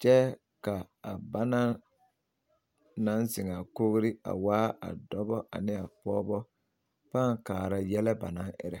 kyɛ ka a bana naŋ zeŋ a kogri a waa dɔbɔ ane a pɔgebɔ pãã kaara yɛlɛ banaŋ erɛ.